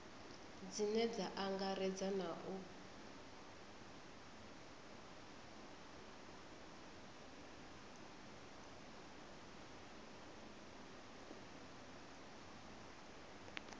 dzine dza angaredza na u